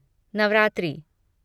Navratri